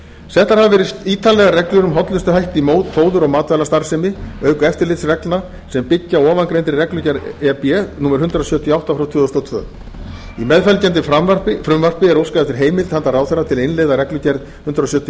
settar hafa verið ítarlegar reglur um hollustuhætti fóður og matvælastarfsemi auk eftirlitsreglna sem byggja á ofangreindri reglugerð e b númer hundrað sjötíu og átta tvö þúsund og tvö í meðfylgjandi frumvarpi er óskað eftir heimild handa ráðherra til að innleiða reglugerð númer hundrað sjötíu og